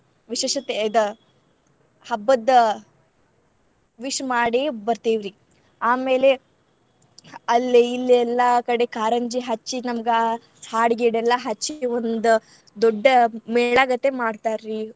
ವಿಶೇಷತೆ ಇದ್ ಹಬ್ಬದ್ wish ಮಾಡಿ ಬರ್ತೇವ್ರಿ. ಆಮೇಲೆ ಅಲ್ಲೇ ಇಲ್ಲೇ ಎಲ್ಲಾ ಕಡೆ ಕಾರಂಜಿ ಹಚ್ಚಿ ನಮಗಾ ಹಾಡ್ ಗೀಡೆಲ್ಲಾ ಹಚ್ಚಿ ಒಂದ್ ದೊಡ್ಡ ಮೇಳ ಗತೆ ಮಾಡ್ತಾರ್ರೀ.